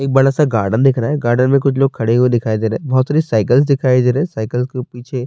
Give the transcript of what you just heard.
ایک بڑا سا گردن دیکھ رہا ہے۔ گردن مے کچھ لوگ کھڈے ہوئے دکھائی دے رہے ہے۔ بھوت ساری سائیکل سکھائی جا رہی، سائیکل کے پیچھے--